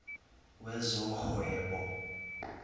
wezohwebo